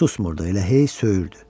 susmurdu, elə hey söyürdü.